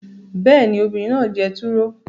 Bẹ́ẹ̀ ni, obìnrin náà jẹ turo